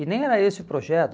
E nem era esse o projeto.